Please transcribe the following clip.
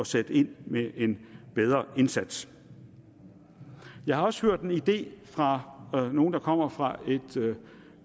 sætte ind med en bedre indsats jeg har også hørt en idé fra nogen der kommer fra et